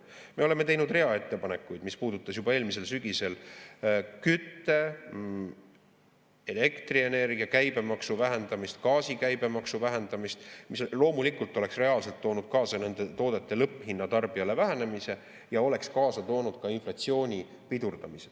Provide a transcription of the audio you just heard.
Me oleme teinud rea ettepanekuid, mis puudutasid juba eelmisel sügisel kütte, elektrienergia käibemaksu vähendamist, gaasi käibemaksu vähendamist, mis loomulikult oleks reaalselt toonud kaasa nende toodete lõpphinna vähenemise tarbijale ja oleks kaasa toonud ka inflatsiooni pidurdamise.